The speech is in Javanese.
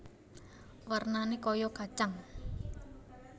Warnané kaya kacang